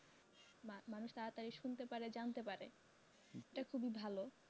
মানুষ তাড়াতাড়ি শুনতে পারে জানতে পারে এটা খুবই ভালো